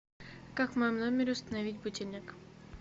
как в моем номере установить будильник